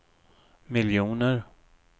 miljoner